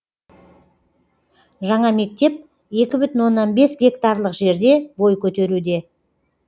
жаңа мектеп екі бүтін оннан бес гектарлық жерде бой көтеруде